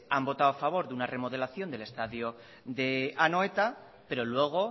hanvotado a favor de una remodelación del estadio de anoeta pero luego